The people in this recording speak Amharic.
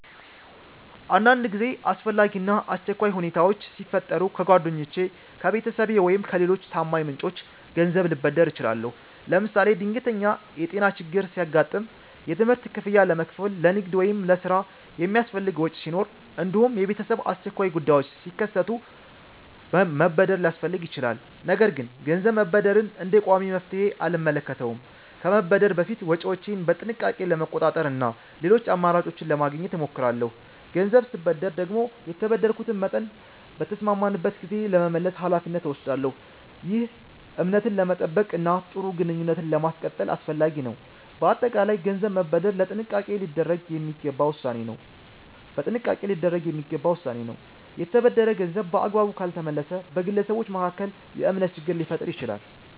አንዳንድ ጊዜ አስፈላጊ እና አስቸኳይ ሁኔታዎች ሲፈጠሩ ከጓደኞቼ፣ ከቤተሰቤ ወይም ከሌሎች ታማኝ ምንጮች ገንዘብ ልበደር እችላለሁ። ለምሳሌ ድንገተኛ የጤና ችግር ሲያጋጥም፣ የትምህርት ክፍያ ለመክፈል፣ ለንግድ ወይም ለሥራ የሚያስፈልግ ወጪ ሲኖር፣ እንዲሁም የቤተሰብ አስቸኳይ ጉዳዮች ሲከሰቱ መበደር ሊያስፈልግ ይችላል። ነገር ግን ገንዘብ መበደርን እንደ ቋሚ መፍትሔ አልመለከተውም። ከመበደር በፊት ወጪዎቼን በጥንቃቄ ለመቆጣጠር እና ሌሎች አማራጮችን ለማግኘት እሞክራለሁ። ገንዘብ ስበደር ደግሞ የተበደርኩትን መጠን በተስማማንበት ጊዜ ለመመለስ ኃላፊነት እወስዳለሁ። ይህ እምነትን ለመጠበቅ እና ጥሩ ግንኙነትን ለማስቀጠል አስፈላጊ ነው። በአጠቃላይ ገንዘብ መበደር በጥንቃቄ ሊደረግ የሚገባ ውሳኔ ነው። የተበደረ ገንዘብ በአግባቡ ካልተመለሰ በግለሰቦች መካከል የእምነት ችግር ሊፈጠር ይችላል።